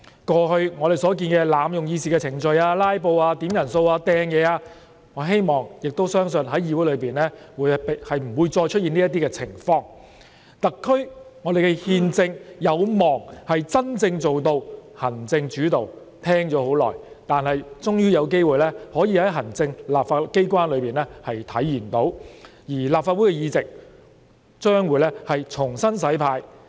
過去我們看到濫用議事程序、"拉布"、點算法定人數及擲物等行為，我希望並相信議會內不會出現這些情況，特區憲政有望真正做到行政主導——我聽聞久已，終於有機會可以在行政機關裏體現，而立法會議席將會重新"洗牌"。